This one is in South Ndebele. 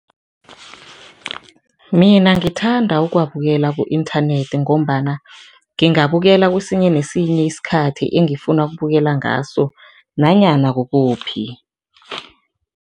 Mina ngithanda ukuwabukela ku-inthanethi ngombana ngingabukela kwesinye nesinye isikhathi engifuna ukubukela ngaso nanyana kukuphi.